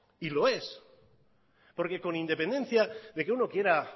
y lo es porque con independencia de que uno quiera